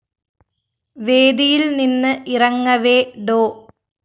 വേദിയില്‍ നിന്ന് ഇറങ്ങവേ ഡോ